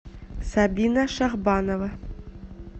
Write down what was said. сабина шахбанова